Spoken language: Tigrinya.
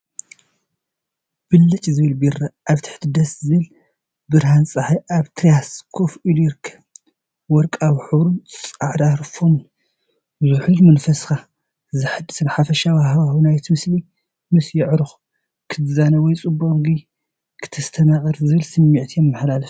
ብልጭ ዝብል ቢራ ኣብ ትሕቲ ደስ ዘብል ብርሃን ጸሓይ ኣብ ቴራስ ኮፍ ኢሉ ይርከብ። ወርቃዊ ሕብሩን ጻዕዳ ፎምን ዝሑልን መንፈስካ ዘሐድስን፣ ሓፈሻዊ ሃዋህው ናይቲ ምስሊ ምስ ኣዕሩኽ ክትዛነ ወይ ጽቡቕ መግቢ ከተስተማቕር ዝብል ስምዒት የመሓላልፍ።